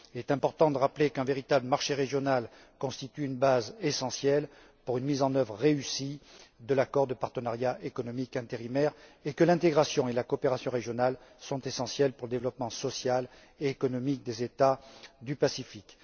Il est important de rappeler qu'un véritable marché régional constitue une base essentielle pour une mise en œuvre réussie de l'accord de partenariat économique intérimaire et que l'intégration et la coopération régionales sont essentielles pour le développement social et économique des États du Pacifique.